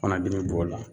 Fana binnen b'o la